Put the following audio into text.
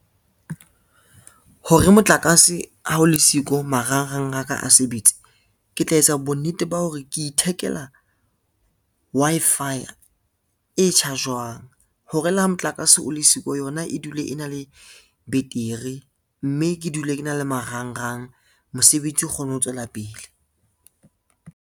Hore motlakase ha o le siko marangrang a ka a sebetse, ke tla etsa bonnete ba hore ke ithekela Wi-Fi e charge-wang hore le ha motlakase o le siko, yona e dule e na le beteri, mme ke dule ke na le marangrang mosebetsi o kgone ho tswela pele.